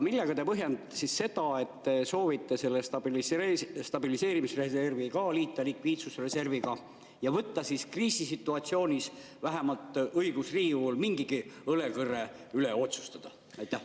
Millega te põhjendate seda, et te soovite selle stabiliseerimisreservi liita likviidsusreserviga ja võtta kriisisituatsioonis õiguse Riigikogul mingigi õlekõrre üle otsustada?